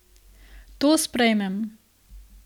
To sprejmem.